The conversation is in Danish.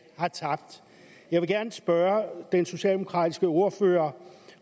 har tabt jeg vil gerne spørge den socialdemokratiske ordfører